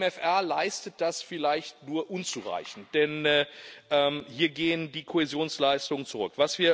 Der MFR leistet das vielleicht nur unzureichend, denn hier gehen die Kohäsionsleistungen zurück.